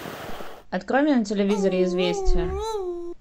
открой мне на телевизоре известия